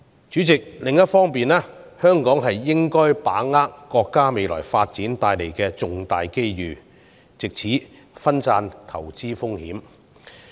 主席，另一方面，香港應該把握國家未來發展所帶來的重大機遇，藉此分散投資風險。